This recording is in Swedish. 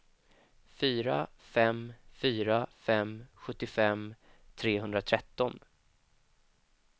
fyra fem fyra fem sjuttiofem trehundratretton